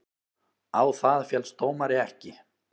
Á það féllst dómari ekki.